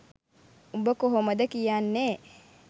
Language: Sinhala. උඹ කොහොමද කියන්නේ?